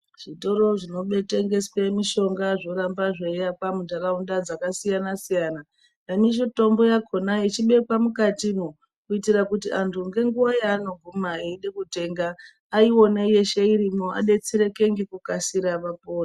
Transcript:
Zvitoro zvinotengeswa mishonga zvoramba zveiakwa mundharaunda dzakasiyana-siyana nemitombo yakona ichibekwa kuitira kuti antu ngenguva yavanoguma kutenga aiona irieshe adetsereke nekukasira vapore.